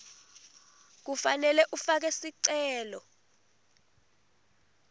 kufanele ufake sicelo